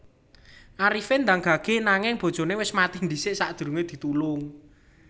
Arifin ndang gage nanging bojone wis mati dhisik sakdurunge ditulung